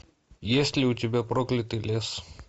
есть ли у тебя проклятый лес